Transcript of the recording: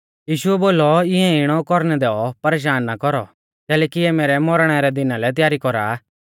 यीशुऐ बोलौ इऐं इणौ कौरणै दैऔ परेशान ना कौरौ कैलैकि इऐ मैरै मौरणै रै दिना लै त्यारी कौरा आ